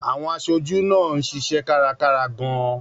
Àwọn aṣojú náà ń ṣiṣẹ́ kárakára gan-an.